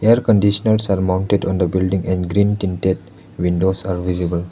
air conditioners are mounted on the building and green tinted windows are visible.